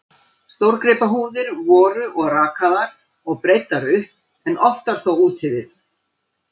Stórgripahúðir voru og rakaðar og breiddar upp, en oftar þó úti við.